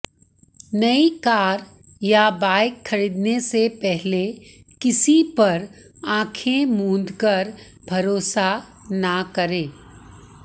नई कार या बाइक खऱीदने से पहले किसी पर आंखें मूंदकर भरोसा न करें